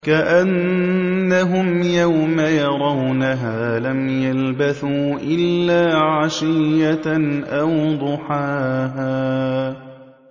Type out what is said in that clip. كَأَنَّهُمْ يَوْمَ يَرَوْنَهَا لَمْ يَلْبَثُوا إِلَّا عَشِيَّةً أَوْ ضُحَاهَا